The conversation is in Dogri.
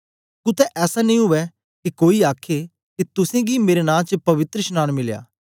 कुत्ते ऐसा नेई उवै के कोई आखे के तुसेंगी मेरे नां च पवित्रशनांन मिलया